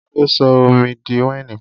Ta ló sọ omi di wáìnì?